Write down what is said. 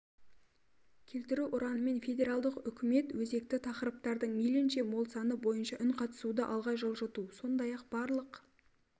келтіру ұранымен федералдық үкімет өзекті тақырыптардың мейлінше мол саны бойынша үнқатысуды алға жылжыту сондай-ақ барлық